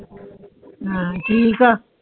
ਹੈ ਠੀਕ ਆ